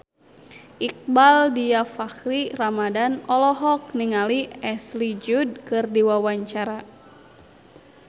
Iqbaal Dhiafakhri Ramadhan olohok ningali Ashley Judd keur diwawancara